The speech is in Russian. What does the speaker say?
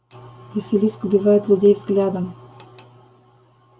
василиск убивает людей взглядом